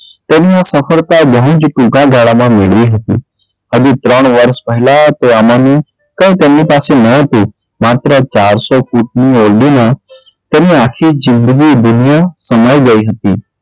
તેમને સફળતા બહુ જ ટુંકા ગાળામાં મેળવી હતી હજી ત્રણ વર્ષ પહેલાં તો અમાનુ કઈ તેમની પાસે ન હતું માત્ર ચારસો ફૂટની ઓરડીમાં તેમને આખી જિંદગી સમાઈ ગઈ હતી.